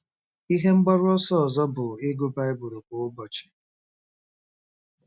Ihe mgbaru ọsọ ọzọ bụ ịgụ Baịbụl kwa ụbọchị.